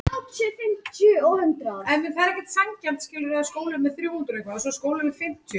Í stórum dráttum hefur þetta gamla líkan þó staðist tímans tönn býsna vel.